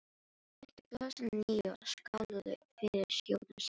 Þeir fylltu glösin að nýju og skáluðu fyrir skjótum sigri.